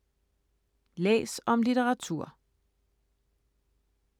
Læs om litteratur